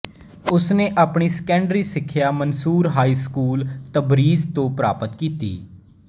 ਉਸਨੇ ਆਪਣੀ ਸੈਕੰਡਰੀ ਸਿਖਿਆ ਮਨਸੂਰ ਹਾਈ ਸਕੂਲ ਤਬਰੀਜ ਤੋਂ ਪ੍ਰਾਪਤ ਕੀਤੀ